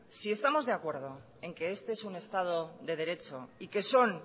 si estamos de acuerdo en que este es un estado de derecho y que son